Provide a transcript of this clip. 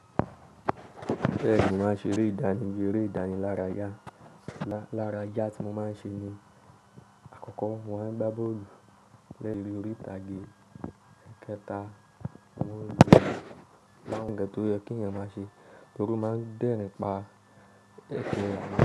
Bẹ́ẹ̀ni, mo máa ń ṣe eré ìdán ni eré ìdánilárayá yẹn lára yà tí mo máa ń ṣe ni àkọ́kọ́ mọ́ máa ń gbá bọ́ọ̀lù lẹ́yìn orí ìtàgé ẹ̀kẹta wọ́n yóò dáhùn gẹ́tò yẹn kí ẹ̀yin máa ṣe, nítorí máa ń dẹ́rìn pá èkèyìn.